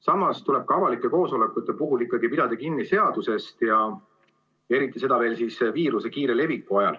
Samas tuleb ka avalike koosolekute puhul ikkagi pidada kinni seadusest ja eriti veel viiruse kiire leviku ajal.